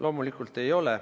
Loomulikult ei ole.